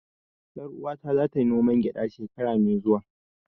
Ƴar uwata za ta yi noman gyada shekara mai zuwa